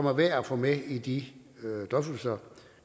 er værd at få med i de drøftelser